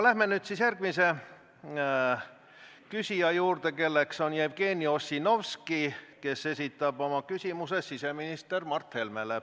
Läheme nüüd järgmise küsija juurde, kelleks on Jevgeni Ossinovski ja kes esitab küsimuse siseminister Mart Helmele.